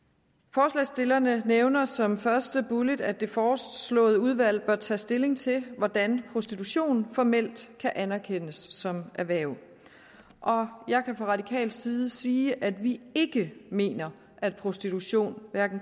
forslagsstillerne nævner som første bullet at det foreslåede udvalg bør tage stilling til hvordan prostitution formelt kan anerkendes som et erhverv jeg kan fra radikal side sige at vi ikke mener at prostitution